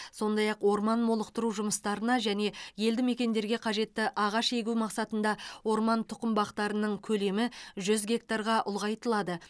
сондай ақ орман молықтыру жұмыстарына және елді мекендерге қажетті ағаш егу мақсатында орман тұқым бақтарының көлемі жүз гектарға ұлғайтылады